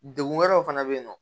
Degun wɛrɛw fana bɛ yen nɔ